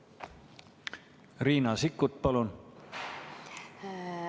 Riina Sikkut, palun!